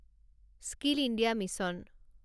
skill India mission